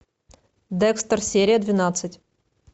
декстер серия двенадцать